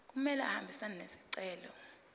kumele ahambisane nesicelo